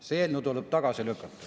See eelnõu tuleb tagasi lükata.